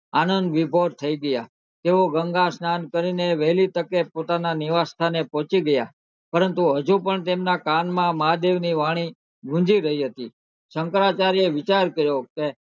આનંદ વિભોર થઇ ગયા તેઓ ગંગા સ્નાન કરી ને વેહલી તકે પોતાના નિવાસ સ્થાને પોહચી ગયા પરંતુ હજુ પણ તેમના કાન માં મહાદેવ નો અવાજ ની વાણી ગુંજી રહી હતી શંકરાચાર્ય એ વિચાર કર્યો કે